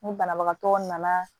Ni banabagatɔ nana